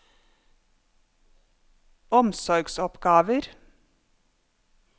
omsorgsoppgaver